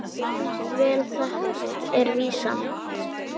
Vel þekkt er vísan